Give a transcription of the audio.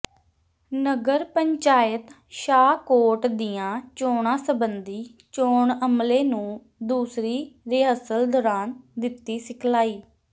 ਨਗਰ ਪੰਚਾਇਤ ਸ਼ਾਹਕੋਟ ਦੀਆਂ ਚੋਣਾਂ ਸਬੰਧੀ ਚੋਣ ਅਮਲੇ ਨੂੰ ਦੂਸਰੀ ਰਿਹਰਸਲ ਦੌਰਾਨ ਦਿੱਤੀ ਸਿਖਲਾਈ